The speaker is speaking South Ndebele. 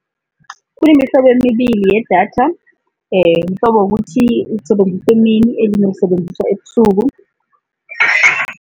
Kunemihlobo emibili yedatha, mhlobo wokuthi ulisebenza emini elinye ulisebenzisa ebusuku.